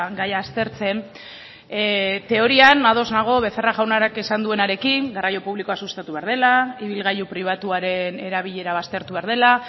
gaia aztertzen teorian ados nago becerra jaunak esan duenarekin garraio publikoa sustatu behar dela ibilgailu pribatuaren erabilera baztertu behar dela